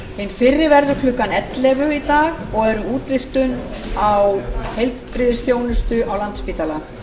hin fyrri verður klukkan ellefu í dag og er um útvíkkun á heilbrigðisþjónustu á landspítala